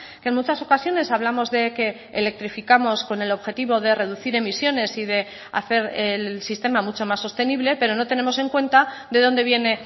que en muchas ocasiones hablamos de que electrificamos con el objetivo de reducir emisiones y de hacer el sistema mucho más sostenible pero no tenemos en cuenta de dónde viene